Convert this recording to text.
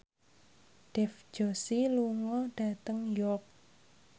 Dev Joshi lunga dhateng York